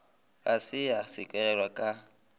ga se ya sekegelwa ka